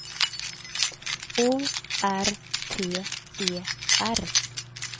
O R T E R